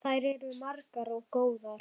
Þær eru margar og góðar.